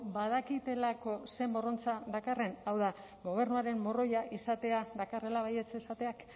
badakitelako ze morrontza dakarren hau da gobernuaren morroia izatea dakarrela baietz esateak